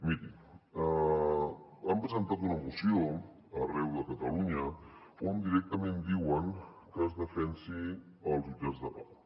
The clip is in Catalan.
mirin han presentat una moció arreu de catalunya on directament diuen que es defensin els jutjats de pau